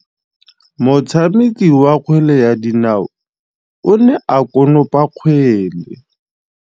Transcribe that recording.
Motshameki wa kgwele ya dinaô o ne a konopa kgwele.